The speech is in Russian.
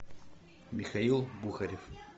михаил бухарев